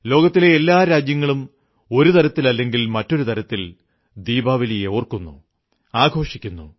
ലോകത്തിലെ എല്ലാ രാജ്യങ്ങളിലും ഒരു തരത്തിലല്ലെങ്കിൽ മറ്റൊരു തരത്തിൽ ദീപാവലി ഓർക്കുന്നു ആഘോഷിക്കുന്നു